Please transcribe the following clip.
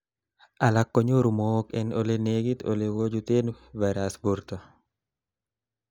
alak konyoru mook en olenegit olekochuten virus borto